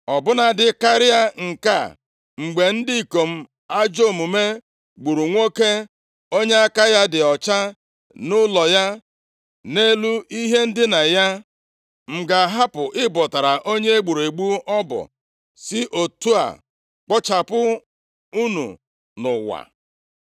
Ọ bụladị karịa nke a, mgbe ndị ikom ajọ omume gburu nwoke onye aka ya dị ọcha nʼụlọ ya, nʼelu ihe ndina ya? + 4:11 \+xt Jen 9:5-6; Abụ 9:12\+xt* M ga-ahapụ ịbọtara onye e gburu egbu ọbọ, si otu a kpochapụ unu nʼụwa!”